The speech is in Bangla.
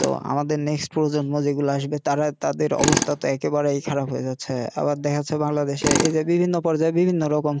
তো আমাদের প্রজন্ম যেগুলা আসবে তারা তাদের অবস্থা তো একেবারেই খারাপ হয়ে যাচ্ছে আবার দেখা যাচ্ছে বাংলাদেশের এই যে বিভিন্ন পর্যায় বিভিন্ন রকম